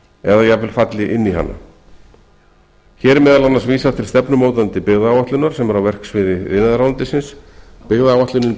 eða jafnvel falli inn í hana hér er meðal annars vísað til stefnumótandi byggðaáætlunar sem er á verksviði iðnaðarráðuneytis byggðaáætlunin